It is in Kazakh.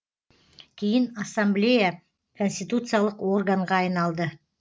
кейін ассамблея конституциялық органға айналды